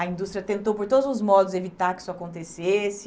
A indústria tentou, por todos os modos, evitar que isso acontecesse.